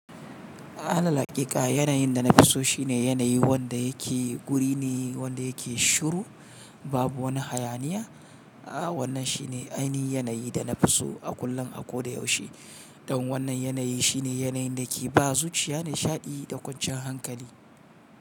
Alal hakika yanayin da na fi so shine yanayi wanda yake guri ne wanda yake shiru, babu wani hayaniya. A wannan shine ainihin yanayi da na fi so a kullum, a kodayaushe. Don wannan yanayi shine yanayin da ke ba zuciya nishaɗi da kwanciyan hankali.